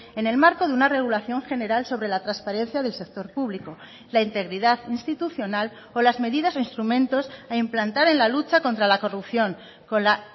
en el marco de una regulación general sobre la transparencia del sector público la integridad institucional o las medidas o instrumentos a implantar en la lucha contra la corrupción con la